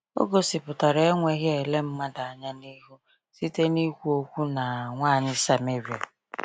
O gosipụtara enweghị ele mmadụ anya n’ihu site n’ikwu okwu na nwanyị Sameria.